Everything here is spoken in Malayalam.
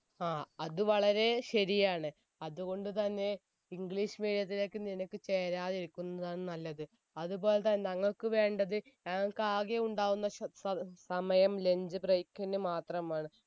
ആ അത് വളരെയേ ശരിയാണ് അതുകൊണ്ട് തന്നെ english medium ത്തിലേക്ക് നിനക്ക് ചേരാതിരിക്കുന്നതാണ് നല്ലത് അതുപോലതന്നെ ഞങ്ങക്ക് വേണ്ടത് ഞങ്ങക്ക് ആകെ ഉണ്ടാകുന്ന ശ് സ സമയം lunch break ന് മാത്രമാണ്